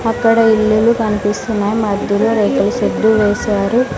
అక్కడ ఇల్లులు కనిపిస్తున్నాయి మధ్యలో రేకులు షెడ్డు వేశారు.